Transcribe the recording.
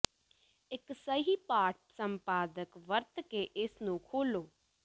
ਇੱਕ ਸਹੀ ਪਾਠ ਸੰਪਾਦਕ ਵਰਤ ਕੇ ਇਸ ਨੂੰ ਖੋਲੋ